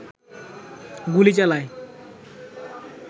গুলি চালায়